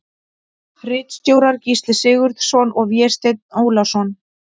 Ritstjórar Gísli Sigurðsson og Vésteinn Ólason.